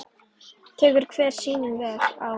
Tekur hver sýning vel á?